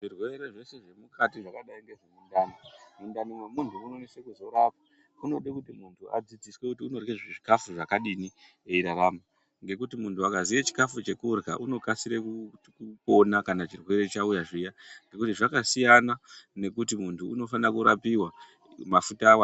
Zvirwere zvese zviri mukati zvakadai ngezvemundani, mundani mwemuntu munozonese kuzorapa, munode kuti muntu adzidziswe kuti unorya zvikafu zvakadini eirarama. Ngekuti muntu akaziye chikafu chekurya unokasira kuona kana chirwere chauya zviya nekuti zvakasiyana nekuti muntu unofana kurapiwa mafuta awanda.